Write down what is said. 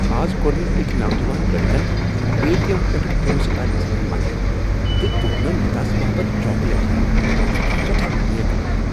از کوٚرمےٚ أکۍ نوجوان لڑکن اے ٹی ایم پیٹھٕہ پونٛسہٕ كڈنس منٛز مدد تہٕ دیوٗتنم تس باپت چاكلیٹ ہینہ ۔ سُہ چُھ سیٹھاہ نیک لڑکہٕ ۔